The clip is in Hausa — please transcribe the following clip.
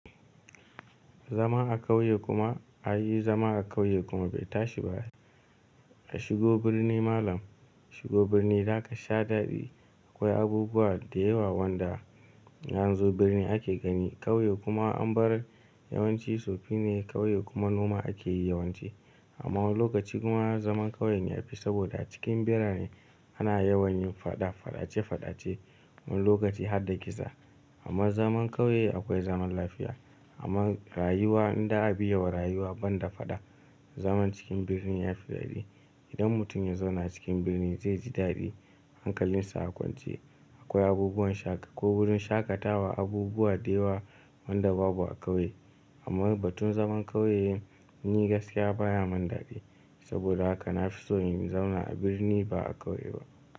Zama a kauye kuma, ai zama a kauye kuma bai tashi ba. A shigo birni malam, shigo birni zaka sha daɗi. Akwai abubuwa da yawa wanda yanzu birni ake gani. Kauye kuma an bar yawanci tsoffine kauye kuma noma ake yi yawanci. Amma wani lokaci kuma zaman kauye ya fi saboda cikin birane ana yawan yin faɗa faɗace faɗace wani lokaci har da kisa. Amma zaman kauye akwai zaman lafiya. Amma rayuwa in da a biye wa rayuwa ban da faɗa zaman cikin birni yafi daɗi. Idan mutum ya zauna cikin birni zai ji daɗi hankalinsa a kwance. Akwai abubuwan shaƙ, wurin shaƙatawa, abubuwa da yawa wanda babu a kauye. Amma batun zaman kauye ni gaskiya baya mun daɗi. Saboda haka na fi so in zauna a birni ba a kauye ba.